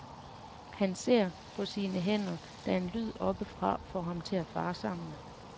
Han ser på sine hænder, da en lyd oppefra får ham til at fare sammen.